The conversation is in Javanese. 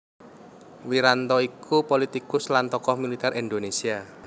Wiranto iku pulitikus lan tokoh militer Indonésia